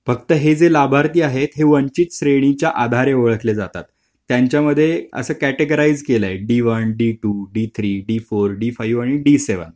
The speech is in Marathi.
फक्त हे लाभार्थी आहे. वंचित श्रेणीचा आधारे ओळखली जातात . त्यांचा मध्ये कॅटेगॉरिसे केलं आहे d1 d2 d3 d4 आणि d7